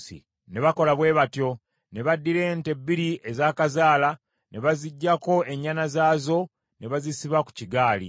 Ne bakola bwe batyo. Ne baddira ente bbiri ezaakazaala, ne baziggyako ennyana zaazo ne bazisiba ku kigaali.